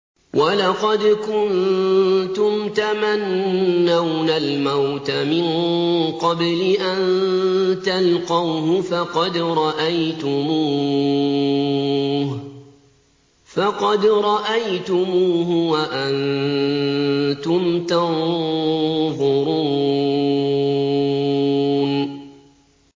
وَلَقَدْ كُنتُمْ تَمَنَّوْنَ الْمَوْتَ مِن قَبْلِ أَن تَلْقَوْهُ فَقَدْ رَأَيْتُمُوهُ وَأَنتُمْ تَنظُرُونَ